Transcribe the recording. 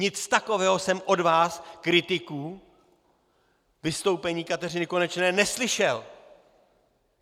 Nic takového jsem od vás, kritiků vystoupení Kateřiny Konečné, neslyšel.